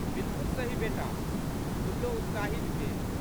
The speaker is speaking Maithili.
बिल्कुल सही बेटा। "गुल्लो उत्साहित भेलि।